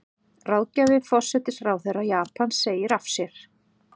Ráðgjafi forsætisráðherra Japans segir af sér